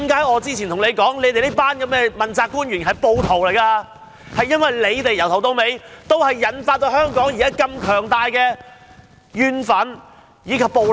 我之前何以指這群問責官員是暴徒，正因為由始至終也是他們導致香港社會出現如此強烈的怨憤和暴力。